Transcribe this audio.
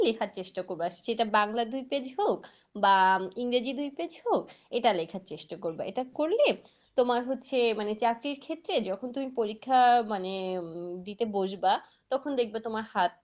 লেখার চেষ্টা করবা। সেটা বাংলা দুই পেজ হোক বা ইংরেজি দুই পেজ হোক এটা লেখার চেষ্টা করবা। এটা করলে তোমার হচ্ছে মানে চাকরির ক্ষেত্রে যখন তুমি পরীক্ষা মানে উম দিতে বসবা। তখন দেখবে তোমার হাত